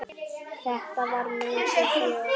Þetta var mikið fjör.